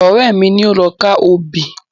Ọ̀rẹ́ mi ni ó lọ ká obì.